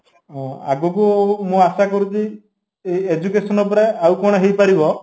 ଅଂ ଆଗକୁ ମୁଁ ଆଶା କରୁଛି ଏଈ education ଉପରେ ଆଉ କ'ଣ ହେଇପାରିବ